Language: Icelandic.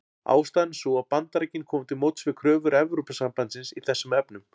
Ástæðan er sú að Bandaríkin komu til móts við kröfur Evrópusambandsins í þessum efnum.